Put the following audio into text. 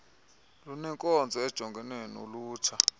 lunenkonzo ejongene nolutsha